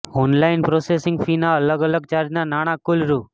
online processing ફીના અલગ અલગ ચાર્જના નાણાં કુલ રૂ